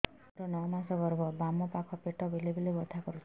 ମୋର ନଅ ମାସ ଗର୍ଭ ବାମ ପାଖ ପେଟ ବେଳେ ବେଳେ ବଥା କରୁଛି